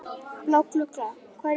Bláklukka, hvað er í matinn?